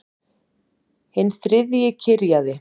Hinn þriðji kyrjaði